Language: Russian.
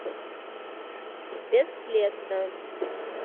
бесследно